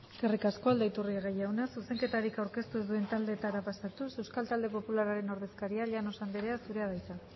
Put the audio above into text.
eskerrik asko aldaiturriaga jauna zuzenketarik aurkeztu ez duten taldeetara pasatuz euskal talde popularraren ordezkaria llanos anderea zurea da hitza